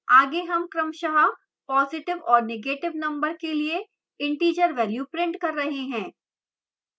आगे हम क्रमशः positive और negative number के लिए integer value प्रिंट कर रहे हैं